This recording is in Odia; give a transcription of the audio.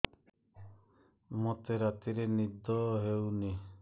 ମୋତେ ରାତିରେ ନିଦ ହେଉନି